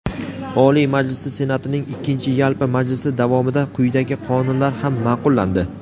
Oliy Majlisi Senatining ikkinchi yalpi majlisi davomida quyidagi qonunlar ham maʼqullandi:.